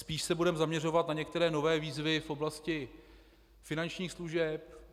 Spíš se budeme zaměřovat na některé nové výzvy v oblasti finančních služeb.